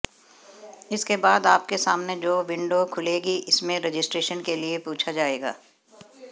इसके बाद आपके सामने जो विंडो खुलेगी इसमें रजिस्ट्रेशन के लिए पूछा जाएगा